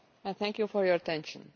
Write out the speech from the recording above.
Thank you for your attention.